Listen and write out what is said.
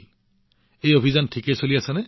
আজিকালি আপোনাৰ প্ৰচাৰ কেনেকুৱা চলি আছে